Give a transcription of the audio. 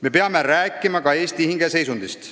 Me peame rääkima ka Eesti hingeseisundist.